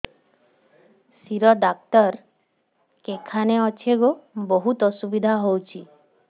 ଶିର ଡାକ୍ତର କେଖାନେ ଅଛେ ଗୋ ବହୁତ୍ ଅସୁବିଧା ହଉଚି